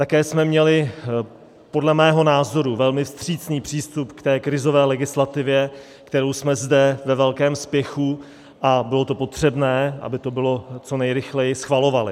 Také jsme měli podle mého názoru velmi vstřícný přístup k té krizové legislativě, kterou jsme zde ve velkém spěchu - a bylo to potřebné, aby to bylo co nejrychleji - schvalovali.